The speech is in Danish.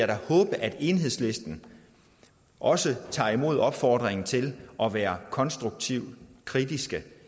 da håbe at enhedslisten også tager imod opfordringen til at være konstruktivt kritiske